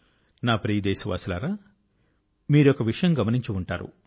నా ప్రియ దేశవాసులారా మీరు ఒక విషయం గమనించి ఉంటారు